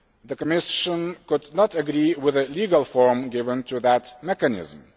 The Commission could not agree with the legal form given to that mechanism.